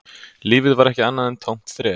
Lífið var ekki annað en tómt þref